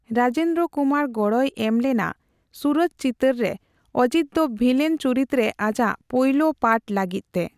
ᱨᱟᱡᱮᱱᱫᱨᱚ ᱠᱩᱢᱟᱨ ᱜᱚᱲᱚᱭ ᱮᱢᱞᱮᱱᱟ ᱥᱩᱨᱚᱡᱽ ᱪᱤᱛᱟᱹᱨ ᱨᱮ ᱚᱡᱤᱛ ᱫᱚ ᱵᱷᱤᱞᱮᱱ ᱪᱩᱨᱤᱛᱨᱮ ᱟᱡᱟᱜ ᱯᱳᱭᱞᱳ ᱯᱟᱴᱷ ᱞᱟᱹᱜᱤᱫᱛᱮ ᱾